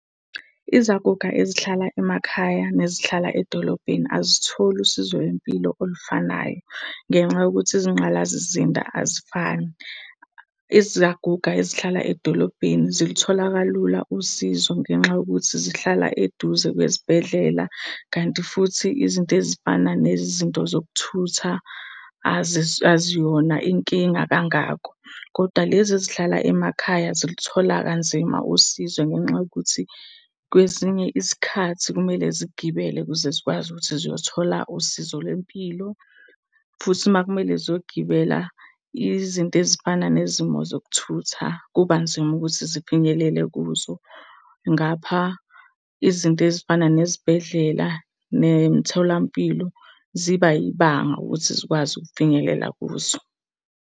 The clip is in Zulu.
Izaguga ezihlala emakhaya nezihlala edolobheni azitholi usizo lwempilo olufanayo ngenxa yokuthi izinqgalazizinda azifani. Izaguga ezihlala edolobheni zilithola kalula usizo ngenxa yokuthi zihlala eduze kwezibhedlela. Kanti futhi izinto ezifana nezinto zokuthutha aziyona inkinga kangako. Koda lezi ezihlala emakhaya zilithola kanzima usizo ngenxa yokuthi kwesinye isikhathi kumele zigibele ukuze zikwazi ukuthi ziyothola usizo lwempilo. Futhi uma kumele ziyogibela izinto ezifana nezimo zokuthutha, kuba nzima ukuthi zifinyelele kuzo. Ngapha, izinto ezifana nezibhedlela, nemitholampilo ziba yibanga ukuthi zikwazi ukufinyelela kuzo.